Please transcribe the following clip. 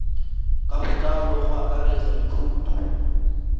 ka botlalo go akaretsa dikhoutu